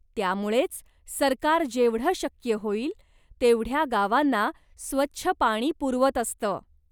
त्यामुळेच सरकार जेवढं शक्य होईल तेवढ्या गावांना स्वच्छ पाणी पुरवत असतं.